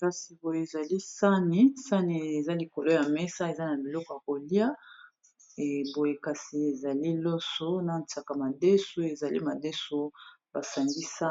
kasi boye ezali sani sani eza likolo ya mesa eza na biloko ya kolia eboye kasi ezali loso na staka madeso ezali madesu basangisa